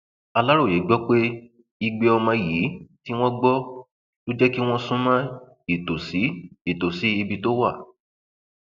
aláròye gbọ pé igbe ọmọ yìí tí wọn gbọ ló jẹ kí wọn sún mọ ìtòsí ìtòsí ibi tó wà